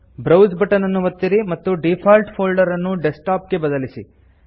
browse button ಅನ್ನು ಒತ್ತಿರಿ ಮತ್ತು ಡೀಫಾಲ್ಟ್ ಫೊಲ್ಡರ್ ಅನ್ನು ಡೆಸ್ಕ್ಟಾಪ್ ಗೆ ಬದಲಾಯಿಸಿ